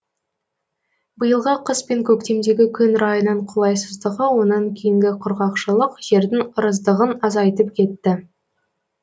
биылғы қыс пен көктемдегі күн райының қолайсыздығы онан кейінгі құрғақшылық жердің ырыздығын азайтып кетті